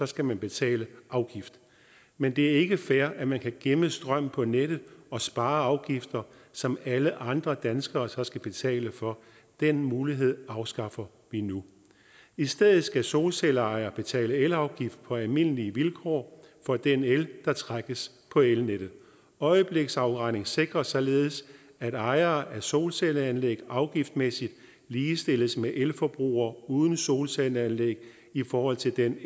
skal man betale afgift men det er ikke fair at man kan gemme strøm på nettet og spare afgifter som alle andre danskere så skal betale for den mulighed afskaffer vi nu i stedet skal solcelleejere betale elafgift på almindelige vilkår for den el der trækkes på elnettet øjebliksafregning sikrer således at ejere af solcelleanlæg afgiftsmæssigt ligestilles med elforbrugere uden solcelleanlæg i forhold til den